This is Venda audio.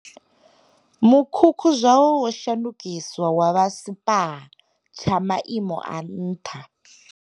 Mukhukhu zwawo wo shandukiswa wa vha spa tsha maimo a nṱha.